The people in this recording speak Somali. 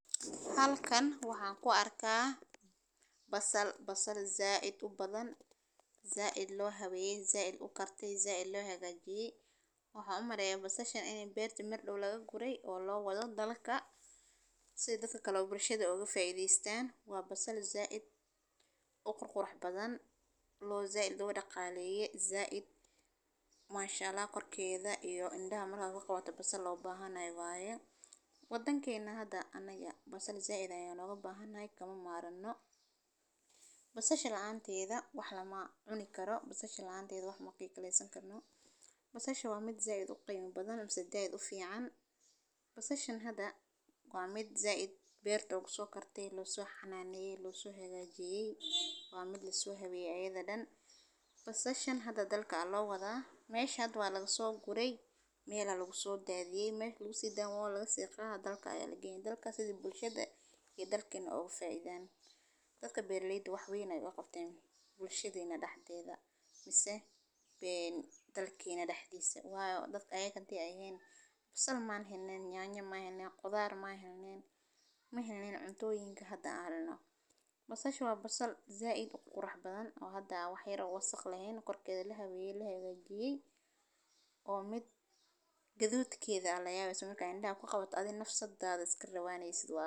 Halkan waxaan ku arkaa basal. Basal zaad u badan, zaad loo xaweeyay, zaad u kartay, zaad loo hagaajiyay oo xumaraya basasha inay beerta mid dhul laga guray oo loo wada dalalka si idinka kala duwan bulshada uga faa'iidaystaan. Waa basal zaad u qurqur badan, loo zaal dooda qaaliyey zaad maashaalla ah qorkeyda iyo indha amma la qabato basal loo baahanay waaya waddankeena hadda aannaga basal zaad ayan looga baahanay kama maarenno. Wasashada caanti ah wax la cuni karo basasha caantiga wax macquul ka leysan karno. Basashu waa mid zaad u qayb badan ama saddaad u fiican. Wasashan hadda waa mid zaad beerta uga soo kartay, loo soo xanaaneyey, loo soo xagaajiyeey, waa mid la xaweeyay cayida dhan. Wasashan hadda dal ka loo wadaa meeshad waa lagu soo guray meel lagu soo daadyey meeshu sidoo waa laga sii qaa dal ka eeg. Dalka sida bulshada iyo dalkeena uga faa'iidaan dadka Berliin. Wax weyn ay waqtiin bulshada dhexdeeda bise, bii dalkeena dhexdiisa waa dad ayaan kadib ahayn basal maahan neen yaan u maahan neen khudaan ma ahayn neen. Ma helnin cuntooyinka hadda hadana basashu waa basal zaad u qurx badan oo hadda waxay uga saqlayn qorkeyda la xaweeyay la xagaajiyeey oo mid ka duwadkeeda la yaab ismu ka noqon in la qabato. Adina nafso da'da iska rabaa neysid waa.